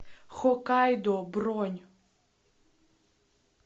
хоккайдо бронь